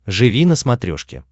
живи на смотрешке